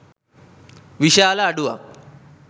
විශාල අඩුවක්